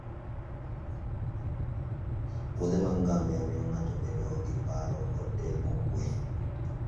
wuodhe mar ngamia miyo ng'ato bedo gi paro kod del mokwe